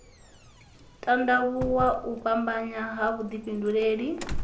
tandavhuwa u fhambanya ha vhudifhinduleli